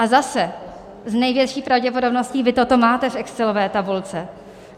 A zase, s největší pravděpodobností vy toto máte v excelové tabulce.